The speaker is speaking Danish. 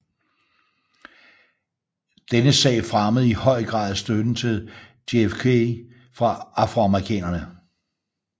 Denne sag fremmede i høj grad støtten til JFK fra afroamerikanerne